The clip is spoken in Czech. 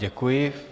Děkuji.